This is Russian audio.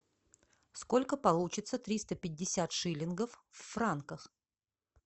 сколько получится триста пятьдесят шиллингов в франках